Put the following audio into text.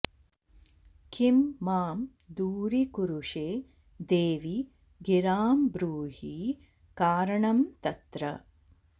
किं मां दूरीकुरुषे देवि गिरां ब्रूहि कारणं तत्र